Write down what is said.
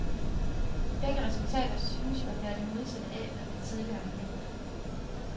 Begge resultater synes jo at være det modsatte, af hvad man tidligere har ment.